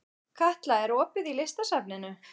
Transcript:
Katla, er opið í Listasafninu?